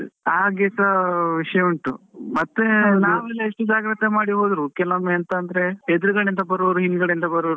ಹಾಗೆಸ ವಿಷ್ಯ ಉಂಟು, ಮತ್ತೇ. ನಾವೆಲ್ಲ ಎಷ್ಟು ಜಾಗ್ರತೆ ಮಾಡಿ ಹೋದ್ರು, ಕೆಲವೊಮ್ಮೆ ಎಂತಂದ್ರೆ, ಎದುರು ಗಡೆ ಇಂದ ಬರೋರು ಹಿಂಗದೆ ಇಂದ ಬರೋರು.